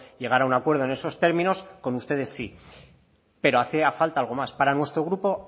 llegar a un acuerdo en esos términos con ustedes sí pero hacía falta algo más para nuestro grupo